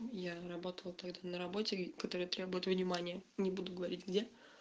я работала тогда на работе которые требуют внимания не буду говорить где